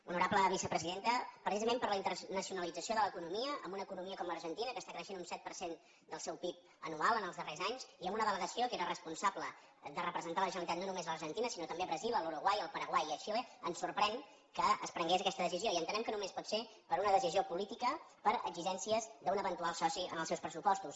honorable vicepresidenta precisament per la internacionalització de l’economia amb una economia com l’argentina que està creixent un set per cent del seu pib anual en els darrers anys i amb una delegació que era responsable de representar la generalitat no només a l’argentina sinó també a brasil a l’uruguai al paraguai i a xile ens sorprèn que es prengués aquesta decisió i entenem que només pot ser per una decisió política per exigències d’un eventual soci en els seus pressupostos